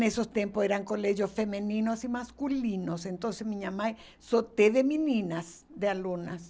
Nesses tempos eram colégios femininos e masculinos, então minha mãe só teve meninas, de alunas.